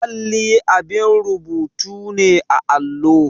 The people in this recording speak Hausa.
Alli abin rubutu ne a allo.